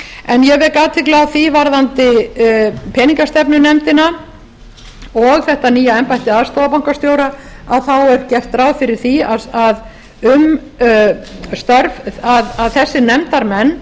en ég vek athygli á því varðandi peningastefnunefndina og þetta nýja embætti aðstoðarbankastjóra þá er gert ráð fyrir því að um þessa nefndarmenn